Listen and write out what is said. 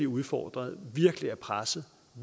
udfordrede virkelig er pressede